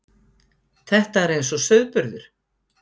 Þetta er eins og sauðburður.